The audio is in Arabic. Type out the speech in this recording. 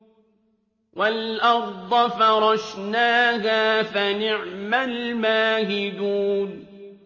وَالْأَرْضَ فَرَشْنَاهَا فَنِعْمَ الْمَاهِدُونَ